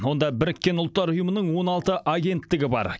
онда біріккен ұлттар ұйымының он алты агенттігі бар